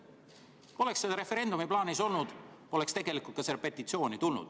Kui poleks seda referendumit plaanis olnud, poleks ka seda petitsiooni tulnud.